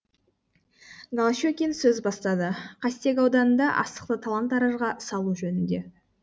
голощекин сөз бастады қастек ауданында астықты талан таражға салу жөнінде